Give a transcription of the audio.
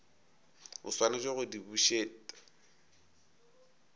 o swanetše go di bušet